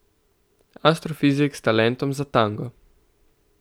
Astrofizik s talentom za tango.